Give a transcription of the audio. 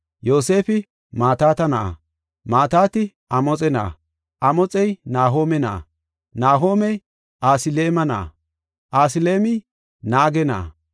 Yoosefi Mataata na7a, Mataati Amoxe na7a, Amoxey Nahoome na7a, Nahoomey Asiliime na7a, Asiliimey Naage na7a,